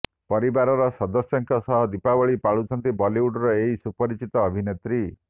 ପରିବାର ସଦସ୍ୟଙ୍କ ସହ ଦୀପାବଳି ପାଳୁଛନ୍ତି ବଲିଉଡର ଏହି ସୁପରିଚିତ ଅଭିନେତ୍ରୀ